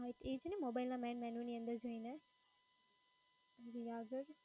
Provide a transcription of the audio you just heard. એ છે ને mobile ના main menu ની અંદર જઈને?